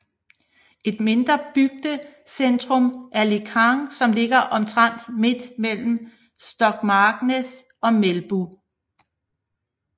Et mindre bygdecentrum er Lekang som ligger omtrent midt mellem Stokmarknes og Melbu